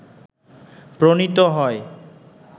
প্রণীত হয়